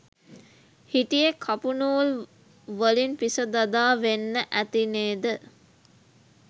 හිටියෙ කපු නූල් වලින්පිස දදා වෙන්න ඇතිනේද?